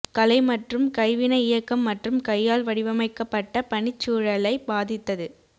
கலை மற்றும் கைவினை இயக்கம் மற்றும் கையால் வடிவமைக்கப்பட்ட பணிச்சூழலைப் பாதித்தது